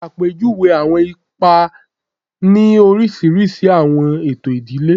Ṣe apejuwe awọn ipa ni oriṣiriṣi awọn eto idile